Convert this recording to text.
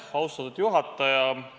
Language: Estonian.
Austatud juhataja!